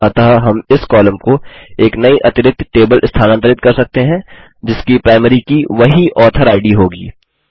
अतः हम इस कॉलम को एक नई अतिरिक्त टेबल स्थानांतरित कर सकते हैं जिसकी प्राइमरी की वही ऑथर इद होगी